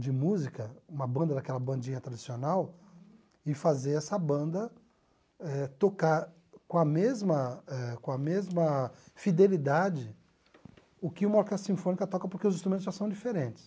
de música, uma banda daquela bandinha tradicional, e fazer essa banda eh tocar com a mesma eh com a mesma fidelidade o que uma orquestra sinfônica toca, porque os instrumentos já são diferentes.